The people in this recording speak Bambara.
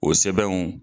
O sɛbɛnw